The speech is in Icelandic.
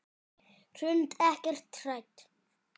Hrund: Ekkert hrædd?